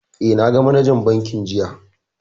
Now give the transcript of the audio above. Eh, na ga manajan bankin jiya